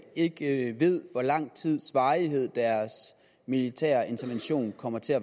ikke ved hvor lang tids varighed deres militære intervention kommer til at